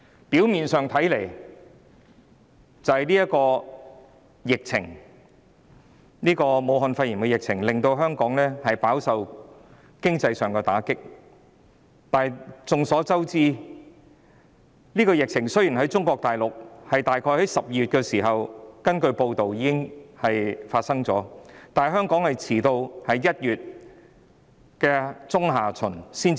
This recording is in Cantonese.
表面上看，是由於武漢肺炎的疫情令香港飽受經濟打擊，但眾所周知，根據報道，雖然中國大陸早於約12月已爆發疫情，但香港在1月中下旬才出現首宗個案。